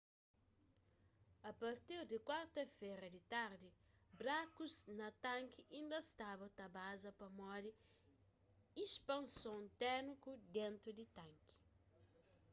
a partir di kuarta-fera di tardi brakus na tanki inda staba ta baza pamodi ispanson térmiku dentu di tanki